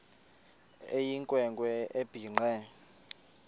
eyinkwe nkwe ebhinqe